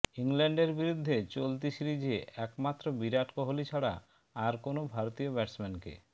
ইংল্যান্ডের বিরুদ্ধে চলতি সিরিজে একমাত্র বিরাট কোহালি ছাড়া আর কোনও ভারতীয় ব্যাটসম্যানকে